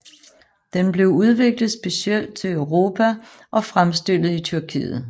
Den blev udviklet specielt til Europa og fremstillet i Tyrkiet